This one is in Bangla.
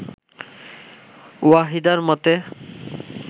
ওয়াহিদার মতে